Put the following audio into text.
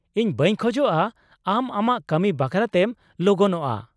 ᱤᱧ ᱵᱟᱹᱧ ᱠᱷᱚᱡᱚᱜᱼᱟ ᱟᱢ ᱟᱢᱟᱜ ᱠᱟᱹᱢᱤ ᱵᱟᱠᱷᱨᱟᱛᱮᱢ ᱞᱚᱜᱚᱱᱚᱜᱼᱟ ᱾